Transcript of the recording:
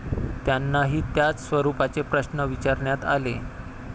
त्यांनाही त्याच स्वरूपाचे प्रश्न विचारण्यात आले.